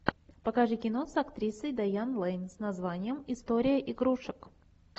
покажи кино с актрисой дайан лэйн с названием история игрушек